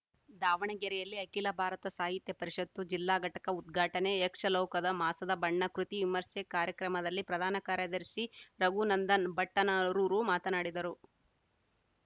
ದಾವಣಗೆರೆಯಲ್ಲಿ ಅಖಿಲ ಭಾರತ ಸಾಹಿತ್ಯ ಪರಿಷತ್ತು ಜಿಲ್ಲಾ ಘಟಕ ಉದ್ಘಾಟನೆ ಯಕ್ಷಲೋಕದ ಮಾಸದ ಬಣ್ಣ ಕೃತಿ ವಿಮರ್ಶೆ ಕಾರ್ಯಕ್ರಮದಲ್ಲಿ ಪ್ರಧಾನ ಕಾರ್ಯದರ್ಶಿ ರಘುನಂದನ ಭಟ್ಟನರೂರು ಮಾತನಾಡಿದರು